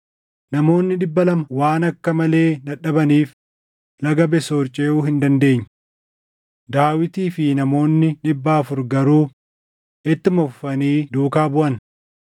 Namoonni dhibba lama waan akka malee dadhabaniif laga Besoor ceʼuu hin dandeenye. Daawitii fi namoonni dhibba afur garuu ittuma fufanii duukaa buʼan.